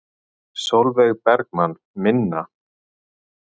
Sólveig Bergmann: Minna?